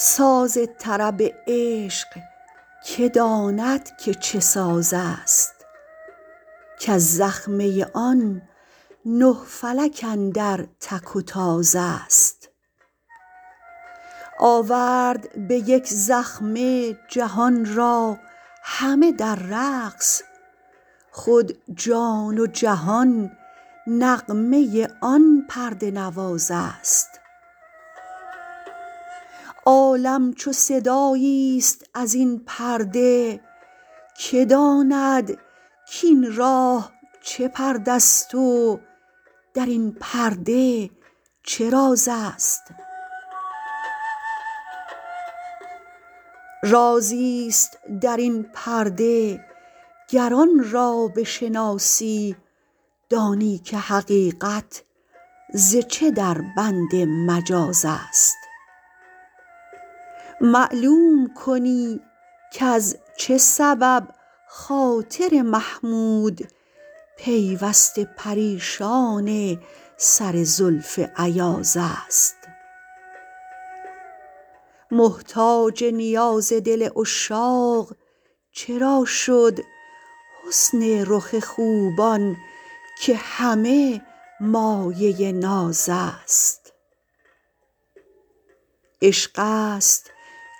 ساز طرب عشق که داند که چه ساز است کز زخمه آن نه فلک اندر تک و تاز است آورد به یک زخمه جهان را همه در رقص خود جان و جهان نغمه آن پرده نواز است عالم چو صدایی است ازین پرده که داند کین راه چه پرده است و درین پرده چه راز است رازی است درین پرده گر آن را بشناسی دانی که حقیقت ز چه دربند مجاز است معلوم کنی کز چه سبب خاطر محمود پیوسته پریشان سر زلف ایاز است محتاج نیاز دل عشاق چرا شد حسن رخ خوبان که همه مایه ناز است عشق است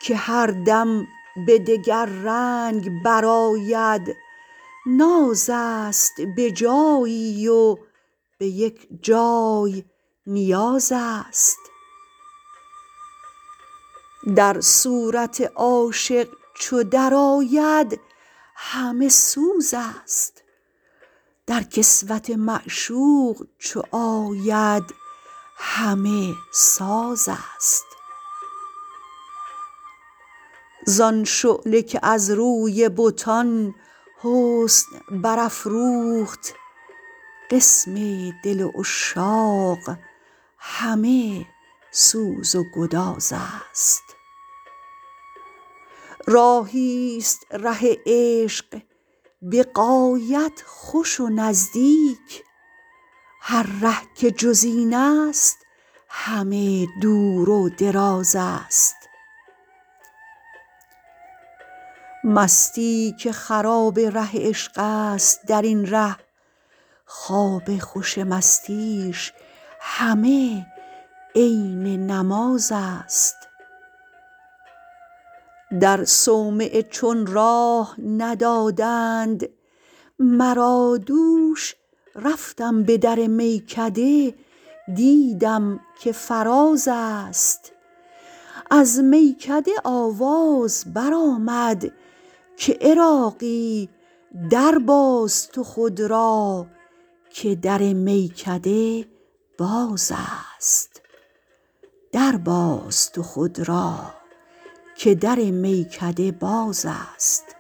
که هر دم به دگر رنگ برآید ناز است بجایی و به یک جای نیاز است در صورت عاشق چو درآید همه سوز است در کسوت معشوق چو آید همه ساز است زان شعله که از روی بتان حسن برافروخت قسم دل عشاق همه سوز و گداز است راهی است ره عشق به غایت خوش و نزدیک هر ره که جز این است همه دور و دراز است مستی که خراب ره عشق است درین ره خواب خوش مستیش همه عین نماز است در صومعه چون راه ندادند مرا دوش رفتم به در میکده دیدم که فراز است از میکده آواز برآمد که عراقی درباز تو خود را که در میکده باز است